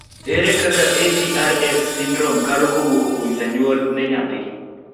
ere kaka Atrs syndrome kalo kawuok kuom janyuol ne nyathi